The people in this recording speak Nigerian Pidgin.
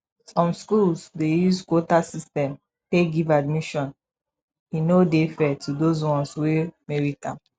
some school dey use quota system take give admission e no dey fair to those ones wey merit am